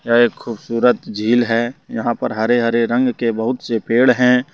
यह एक खूबसूरत झील है यहां पर हरे हरे रंग के बहुत से पेड़ हैं।